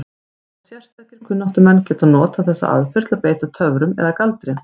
Og sérstakir kunnáttumenn geta notað þessa aðferð til að beita töfrum eða galdri.